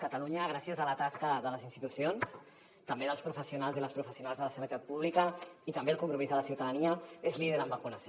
catalunya gràcies a la tasca de les institucions també dels professionals i les professionals de la sanitat pública i també al compromís de la ciutadania és líder en vacunació